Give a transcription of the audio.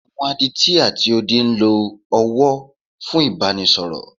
Àwọn Adití ati odi ń lo ọwọ́ fún Ìbánisọ̀rọ̀.